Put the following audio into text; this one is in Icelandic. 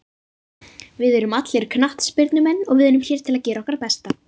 Við erum allir knattspyrnumenn og við erum hér til að gera okkar besta.